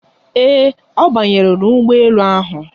Ee, ọ banyere n'ụgbọ elu ahụ.